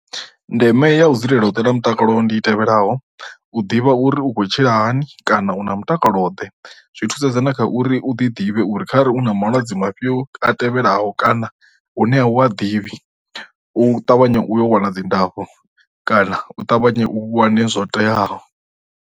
Ndeme ya u dzulela u ṱola mutakalo ndi tevhelaho, u ḓivha uri u khou tshila hani kana u na mutakalo ḓe zwi thusedza na kha uri u ḓi ḓivhe uri kha ri u na malwadze mafhio a tevhelaho kana u ṋea u a ḓivhi, u ṱavhanya u yo wana dzi ndafho kana u ṱavhanya u wane zwo teaho